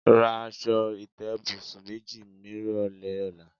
Ra as̩o̩ ìté̩bùsùn méjì nírò̩lé̩ ò̩la.